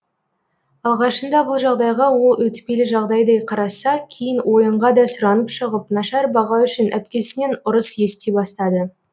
алғашында бұл жағдайға ол өтпелі жағдайдай қараса кейін ойынға да сұранып шығып нашар баға үшін әпкесінен ұрыс ести бастады